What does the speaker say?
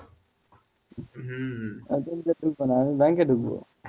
NGO তে না আমি ব্যাংকে ঢুকব,